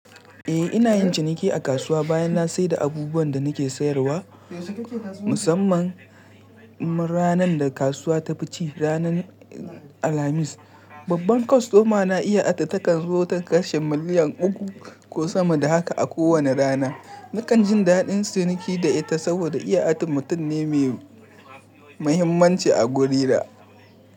Eh, ina yin ciniki a kasuwa bayan na sayar da abubuwan da nake sayarwa, musamman ranar da kasuwa ta fi ci, ranar Alhamis. Babban kwastomana iya adadɗa takanzo ta kashe miliyan uku ko sama da haka a kowane rana. Nakan jin daɗin ciniki da ita saboda iya ate mutum ne mai muhimmanci a gurina.